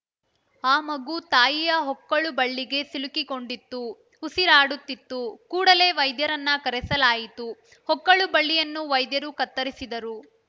ಆ ಮಗು ತಾಯಿಯ ಹೊಕ್ಕಳುಬಳ್ಳಿಗೆ ಸಿಲುಕಿಕೊಂಡಿತ್ತು ಉಸಿರಾಡುತ್ತಿತ್ತು ಕೂಡಲೇ ವೈದ್ಯರನ್ನ ಕರೆಸಲಾಯಿತು ಹೊಕ್ಕಳುಬಳ್ಳಿಯನ್ನು ವೈದ್ಯರು ಕತ್ತರಿಸಿದರು